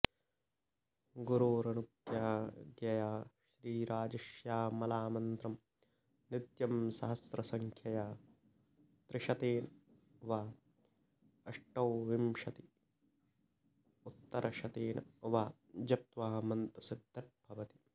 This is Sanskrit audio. गुरोरनुज्ञया श्रीराजश्यामलामन्त्रं नित्यं सहस्रसङ्ख्यया त्रिशतेन वाऽष्टाविंशदुत्तरशतेन वा जप्त्वा मन्त्रसिद्धिर्भवति